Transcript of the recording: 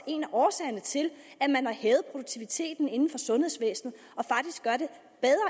en af årsagerne til at man har hævet produktiviteten inden for sundhedsvæsenet